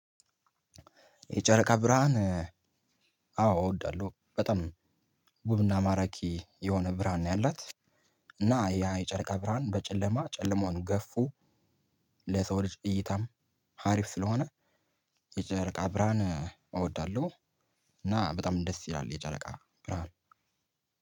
የጨረቃ ብርሃን አዎ እወዳለሁ በጣም ውብና ማራኪ የሆነ ብርሃን ነው ያላት። እና ያ የጨረቃ ብርሃን በጨለማ ጨለማውን ገፍፎ ለሰው ልጅ እይታም አሪፍ ስለሆነ የጨረቃ ብርሃን እወዳለሁ። እና በጣም ደስ ይላል የጨረቃ ብርሃን።